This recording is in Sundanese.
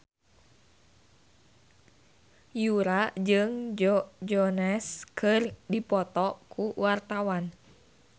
Yura jeung Joe Jonas keur dipoto ku wartawan